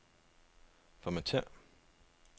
Formatér.